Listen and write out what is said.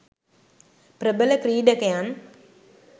ප්‍රබල ක්‍රීඩකයන්